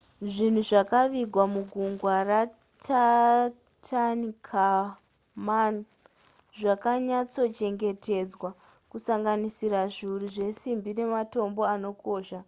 zvinhu zvakavigwa muguva ratutankhamun zvakanyatsochengetedzwa kusanganisira zviuru zvesimbi nematombo anokosha